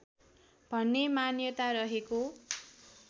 भन्ने मान्यता रहेको